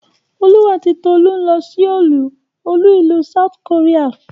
Olú àti Tolú ń lọ Souel olú-ìlú South Korea.